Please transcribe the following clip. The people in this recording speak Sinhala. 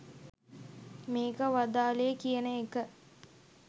මේක වදාළේ කියන එක.